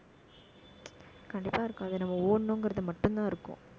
கண்டிப்பா இருக்கும். அது நம்ம ஓடணுங்கிறது மட்டும்தான் இருக்கும்